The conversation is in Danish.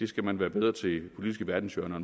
skal man være bedre til de politiske verdenshjørner